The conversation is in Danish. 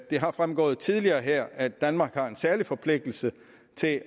det er fremgået tidligere her at danmark har en særlig forpligtelse til at